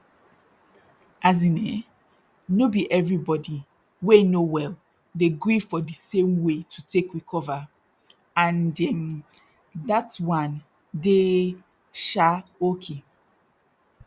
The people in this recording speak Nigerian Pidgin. as in eh no be everybody wey no well dey gree for di same way to take recover and erm dat one dey um oki